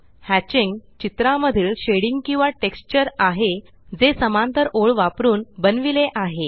hatching चित्रामधील shading किंवा texture आहे जे समांतर ओळ वापरून बनविले आहे